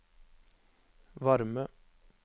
varme